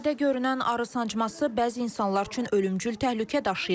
Sadə görünən arı sancması bəzi insanlar üçün ölümcül təhlükə daşıyır.